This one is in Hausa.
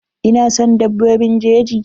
Ina son dabbobin jeji.